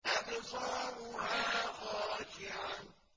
أَبْصَارُهَا خَاشِعَةٌ